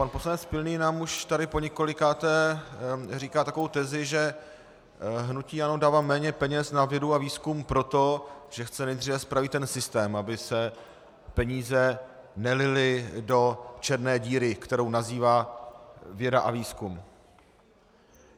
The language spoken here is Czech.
Pan poslanec Pilný nám už tady poněkolikáté říká takovou tezi, že hnutí ANO dává méně peněz na vědu a výzkum proto, že chce nejdříve spravit ten systém, aby se peníze nelily do černé díry, kterou nazývá věda a výzkum.